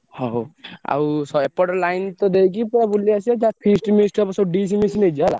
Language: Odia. ହଉ ଆଉ ଏପଟ line ଦେଇକି ପୁରା ବୁଲି ଆସିବା feast ମିଷ୍ଟ ହବ dish ମିଷ ନେଇଯିବା ହେଲା।